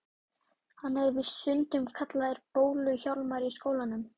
Hann er víst stundum kallaður Bólu-Hjálmar í skólanum.